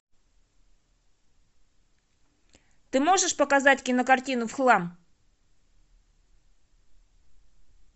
ты можешь показать кинокартину в хлам